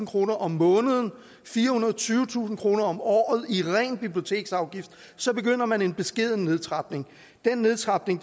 kroner om måneden og firehundrede og tyvetusind kroner om året i ren biblioteksafgift så begynder man en beskeden nedtrapning den nedtrapning